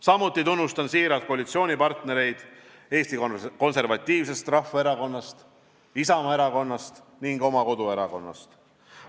Samuti tunnustan siiralt koalitsioonipartnereid Eesti Konservatiivsest Rahvaerakonnast, Isamaa erakonnast ning oma koduerakonnast.